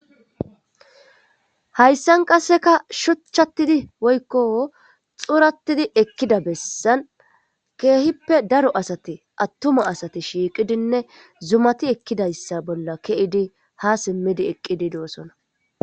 Hayssan qasseka shuchchatidi woykko xuratidi ekkida bessan keehippe daro asati attuma asati shiiqidinne zumati ekkidayssa bolla ke'idi ha simmidi eqqidi doosona.